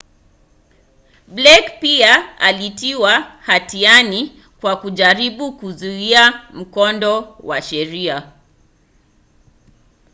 blake pia alitiwa hatiani kwa kujaribu kuzuia mkondo wa sheria